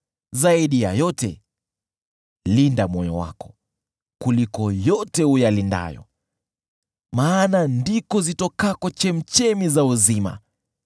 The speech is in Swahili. Zaidi ya yote, linda moyo wako, kuliko yote uyalindayo, maana ndiko zitokako chemchemi za uzima.